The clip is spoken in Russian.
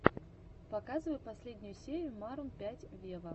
показывай последнюю серию марун пять вево